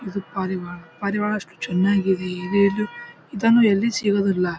ಇದು ಪಾರಿವಾಳ ಪಾರಿವಾಳ ಎಷ್ಟು ಚೆನ್ನಾಗಿ ಇದೆ. ಇದನ್ನು ಎಲ್ಲಿ ಸಿಗದಿಲ್ಲ.